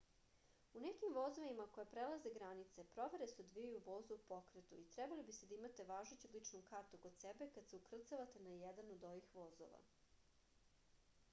u nekim vozovima koji prelaze granice provere se odvijaju u vozu u pokretu i trebali biste da imate važeću ličnu kartu kod sebe kad se ukrcavate na jedan od ovih vozova